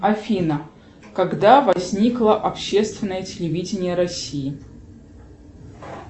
афина когда возникло общественное телевидение россии